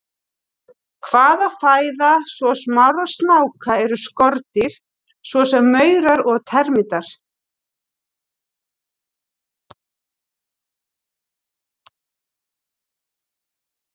Helsta fæða svo smárra snáka eru skordýr svo sem maurar og termítar.